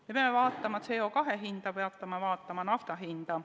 Me peame vaatama CO2 hinda, me peame vaatama nafta hinda.